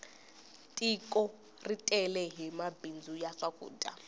tiko ri tele hi mabindzu ya swakudya